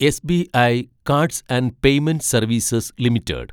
SBI cards and payment services limited